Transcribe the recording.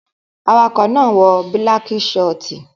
Awakọ̀ náà wọ balck shiort